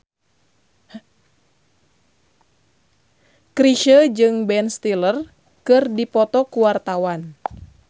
Chrisye jeung Ben Stiller keur dipoto ku wartawan